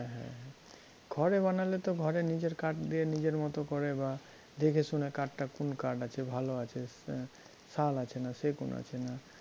হ্যাঁ হ্যাঁ হ্যাঁ ঘরে বানালে তো ঘরে নিজের কাঠ দিয়ে নিজের মত করে বা দেখেশুনে কাঠটা কোন কাঠ আছে ভালো আছে না, শাল আছে না সেগুন আছে না